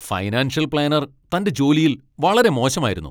Financial planner തന്റെ ജോലിയിൽ വളരെ മോശമായിരുന്നു.